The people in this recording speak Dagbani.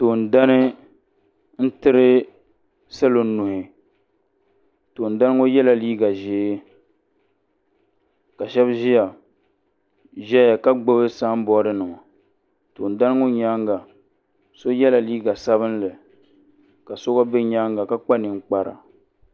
Toondana n-tiri salo nuhi toondana ŋɔ yela liiga ʒee ka shɛba ʒeya ka gbubi samboodinima toondana ŋɔ nyaaŋa so yela liiga sabinli ka so gba be nyaaŋa ka kpa ninkpara.